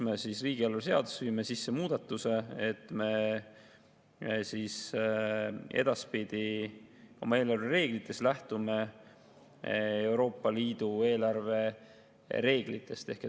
Me riigieelarve seadusesse viime sisse muudatuse, et me edaspidi oma eelarvereeglites lähtume Euroopa Liidu eelarvereeglitest.